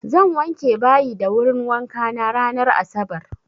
Zan wanke bayi da wurin wankana ranar asabar.